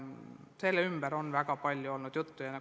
Sellest on väga palju juttu olnud.